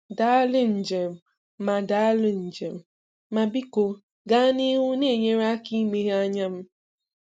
Daalụ Njem ma Daalụ Njem ma biko gaa n'ihu na-enyere aka imeghe anya m.